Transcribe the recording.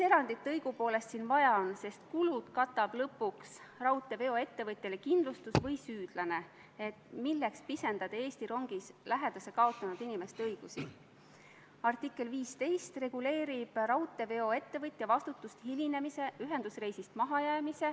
Selle eelnõu esimese lugemise seletuskirjast loen ma välja, et saadetakse kokku 20 kaitseväelast, 10 läheb Euroopa Liidu väljaõppemissioonile Malis ja kuni 10 ÜRO rahutagamismissioonile sealsamas Malis.